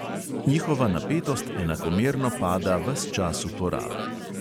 Njihova napetost enakomerno pada ves čas uporabe.